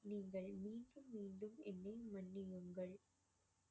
நீங்கள் மீண்டும் மீண்டும் என்னை மன்னியுங்கள்